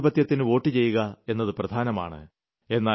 ജനാധിപത്യത്തിന് വോട്ടു ചെയ്യുക എന്നത് പ്രധാനമാണ്